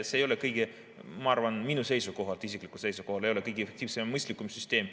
See ei ole, ma arvan, minu isikliku seisukoha järgi kõige efektiivsem ja mõistlikum süsteem.